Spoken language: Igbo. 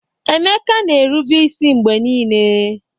Emeka na-erube isi mgbe niile